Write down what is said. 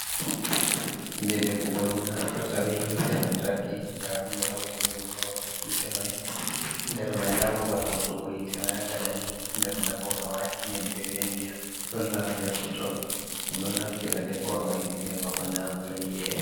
kuje defugo ɗum naftirta be hite lamtarki, ndaɗum be hautini ɗum hababal hite mai, nder mai nda babal hautugo hite mai ha gaɗani, nder mai bo ɓe wadi nyebbe be ndiyam, ɗon lare nder totton, dum do naftira deforo himbe hebako nyamata iyeda.